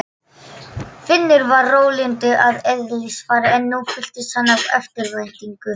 Finnur var rólyndur að eðlisfari en nú fylltist hann eftirvæntingu.